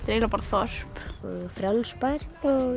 eiginlega bara þorp Frjáls bær